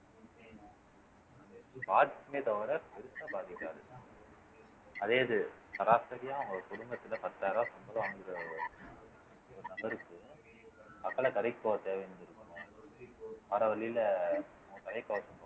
பாதிக்குமே தவிர பெருசா பாதிக்காது அதே இது சராசரியா உங்க குடும்பத்துல பத்தாயிரம் ரூபாய் சம்பளம் வாங்கிட்டு வர்ற வழியில